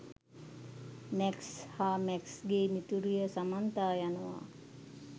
Max සහ මැක්ස්ගේ මිතුරිය සමන්තා යනවා.